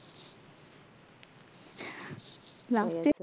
last step